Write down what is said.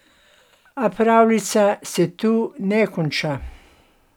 A pravljica se tu ne konča.